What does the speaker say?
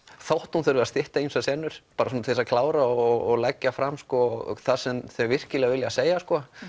þótt hún þurfi að stytta ýmsar senur bara til þess að klára og leggja fram það sem þau virkilega vilja segja